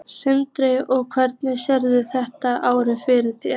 Sindri: Og hvernig sérðu þetta ár fyrir þér?